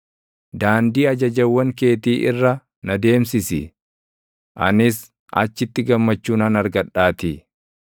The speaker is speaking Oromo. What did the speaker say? Daandii ajajawwan keetii irra na deemsisi; anis achitti gammachuu nan argadhaatii.